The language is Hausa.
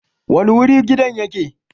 Wani wuri gidan yake?